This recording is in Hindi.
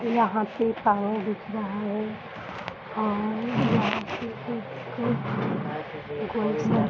यहाँ पे एक पानी दिख रहा है और यहाँ पे एक गोल सा --